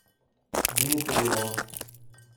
дмитриевым